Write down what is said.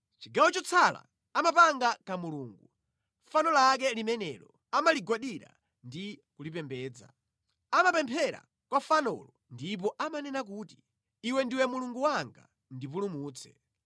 Chigawo chotsala amapanga kamulungu, fano lake limenelo; amaligwadira ndi kulipembedza. Amapemphera kwa fanolo ndipo amanena kuti, “Iwe ndiwe mulungu wanga, ndipulumutse.”